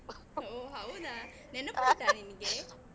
ಓಹ್ ಹೌದಾ. ನೆನಪುಂಟ ನಿಂಗೆ?